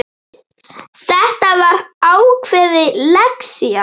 Þetta var ákveðin lexía.